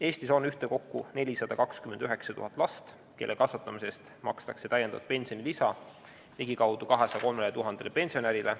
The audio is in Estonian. Eestis on ühtekokku 429 000 last, kelle kasvatamise eest makstakse täiendavat pensionilisa ligikaudu 203 000 pensionärile.